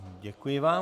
Děkuji vám.